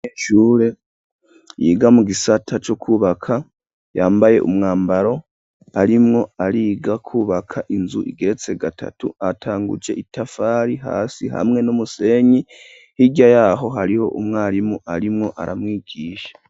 Umunyeshure yiga mu gisata co kubaka, yambaye umwambaro, arimwo ariga kubaka inzu igeretse gatatu, atanguje itafari hasi hamwe n'umusenyi, hirya yaho hari umwarimu arimwo aramwigisha.